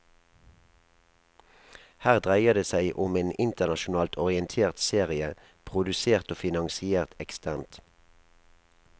Her dreier det seg om en internasjonalt orientert serie, produsert og finansiert eksternt.